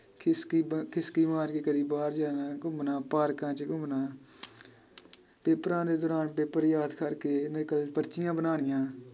ਖਿਸਕੀ ਬਨ ਖਿਸਕੀ ਮਾਰ ਕੇ ਕਦੀ ਬਾਹਰ ਜਾਣਾ ਘੁੰਮਣਾ ਪਾਰਕਾਂ ਚ ਘੁੰਮਣਾ ਪੇਪਰਾਂ ਦੇ ਦੌਰਾਨ ਪੇਪਰ ਯਾਦ ਕਰਕੇ ਨਕਲ ਪਰਚੀਆਂ ਬਣਾਉਣੀਆਂ